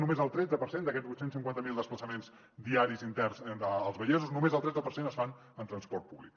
només el tretze per cent d’aquests vuit cents i cinquanta miler desplaçaments diaris interns dels vallesos es fan en transport públic